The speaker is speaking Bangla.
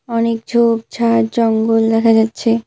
অনেক ঝোপঝাড় জঙ্গল দেখা যাচ্ছে।